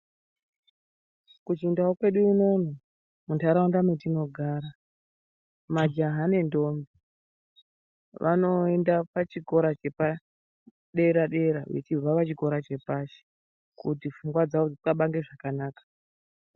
Kuchindau kwedu unono muntaraunda metinogara majaha nendombi vanoenda pachikora chepadera dera vechibva pachikora chepashi kuti pfungwa dzawo dzoxabange zvakanaka.